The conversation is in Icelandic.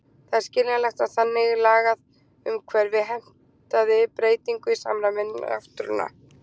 Það er skiljanlegt, að þannig lagað umhverfi heimtaði breytingu í samræmi við náttúruna.